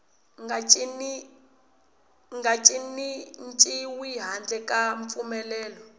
nga cinciwi handle ka mpfumelelo